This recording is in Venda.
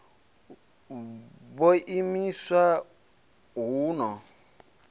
b u imiswa hu no